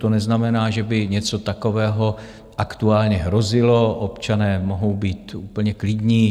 To neznamená, že by něco takového aktuálně hrozilo, občané mohou být úplně klidní.